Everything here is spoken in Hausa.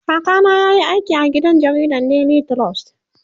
kaka na yayi aiki da gidan jaridan daily trust